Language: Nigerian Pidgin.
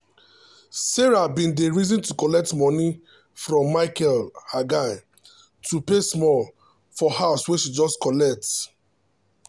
sarah bin dey reason to collect moni from micheal her guy to pay small for house wey she just collect.